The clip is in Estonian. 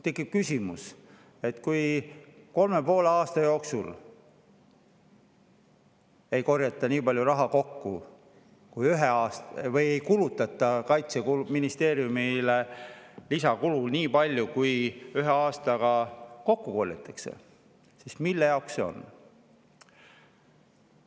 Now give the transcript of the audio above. Tekib küsimus, et kui kolme ja poole aasta jooksul ei kulutata Kaitseministeeriumis lisaks nii palju, kui ühe aastaga kokku korjatakse, siis mille jaoks see on.